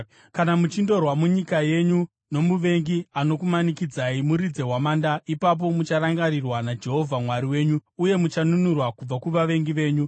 Kana muchindorwa munyika yenyu nomuvengi anokumanikidzai, muridze hwamanda. Ipapo mucharangarirwa naJehovha Mwari wenyu uye muchanunurwa kubva kuvavengi venyu.